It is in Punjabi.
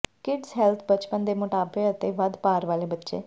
ਕਿਡਜ਼ ਹੈਲਥ ਬਚਪਨ ਦੇ ਮੋਟਾਪੇ ਅਤੇ ਵੱਧ ਭਾਰ ਵਾਲੇ ਬੱਚੇ